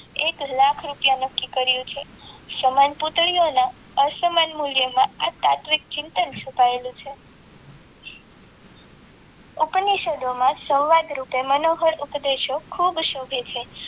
એક લાખ રૂપિયા નક્કી કર્યું છે સમાન પુતળીઓના અસમાન મૂલ્યમાં આ તાત્વિક ચિંતન મુકાયેલું છે હું કોઈ નિશદોમાં સંવાદ રૂપે મનોબળ ઉપદેશ ખૂબ શોભે છે.